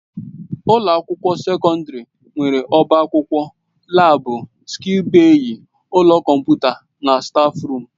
Ụlọ akwụkwọ sekọndrị nwere ọbá akwụkwọ, laabu, sịịk bèyí, ụlọ kọmputa na stáfruum.